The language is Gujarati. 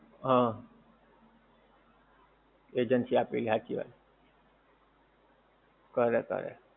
હા agency આપીને સાચી વાત કરે કરે